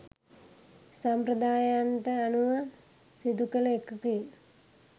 සම්ප්‍රදායයන්ට අනුව සිදුකළ එකකි.